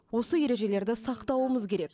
осы ережелерді сақтауымыз керек